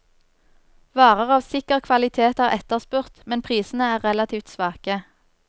Varer av sikker kvalitet er etterspurt, men prisene er relativt svake.